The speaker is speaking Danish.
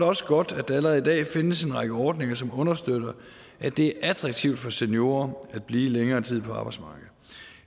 også godt at der allerede i dag findes en række ordninger som understøtter at det er attraktivt for seniorer at blive længere tid på arbejdsmarkedet